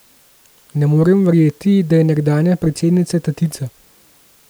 Ne morem verjeti, da je nekdanja predsednica tatica.